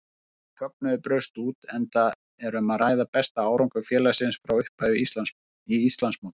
Mikill fögnuður braust út enda um að ræða besta árangur félagsins frá upphafi í Íslandsmóti.